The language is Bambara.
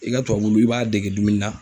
I ka tubabu wulu, i b'a dege dumuni na.